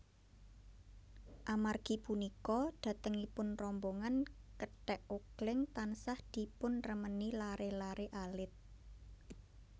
Amargi punika dhatengipun rombongan kethèk ogléng tansah dipunremeni laré laré alit